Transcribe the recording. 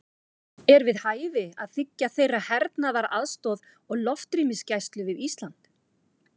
Er við hæfi að þiggja þeirra hernaðaraðstoð og loftrýmisgæslu við Ísland?